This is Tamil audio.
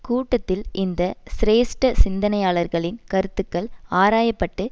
கூட்டத்தில் இந்த சிரேஷ்ட சிந்தனையாளர்களின் கருத்துக்கள் ஆராய பட்டு